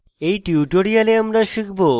in tutorial আমরা শিখব